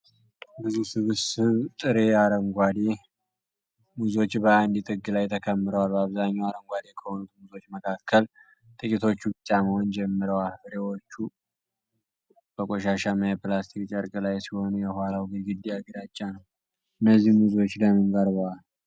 ብዙ ስብስብ ጥሬ አረንጓዴ ሙዞች በአንድ ጥግ ላይ ተከምረዋል። በአብዛኛው አረንጓዴ ከሆኑት ሙዞች መካከል ጥቂቶቹ ቢጫ መሆን ጀምረዋል። ፍሬዎቹ በቆሻሻማ የፕላስቲክ ጨርቅ ላይ ሲሆኑ የኋላው ግድግዳ ግራጫ ነው። እነዚህ ሙዞች ለምን ቀርበዋል